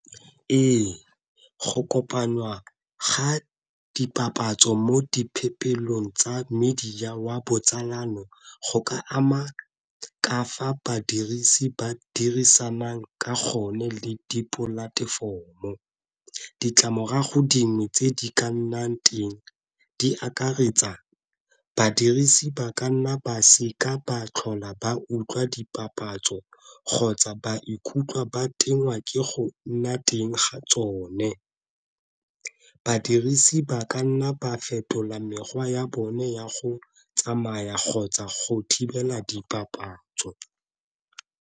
Ee go kopanwa ga dipapatso mo tsa media wa botsalano go ka ama ka fa badirisi ba dirisanang ka gonne le di platform o ditlamorago dingwe tse di ka nnang teng di akaretsa badirisi ba ka nna ba seka ba tlhola ba utlwa dipapatso kgotsa ba ikutlwa ba tengwa ke go nna teng ga tsone. Badirisi ba ka nna ba fetola mekgwa ya bone ya go tsamaya kgotsa go thibela dipapatso.